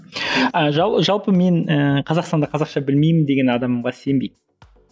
ы жалпы мен ііі қазақстанда қазақша білмеймін деген адамға сенбейді